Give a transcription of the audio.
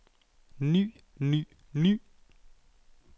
ny ny ny